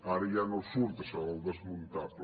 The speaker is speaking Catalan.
ara ja no surt això del desmuntable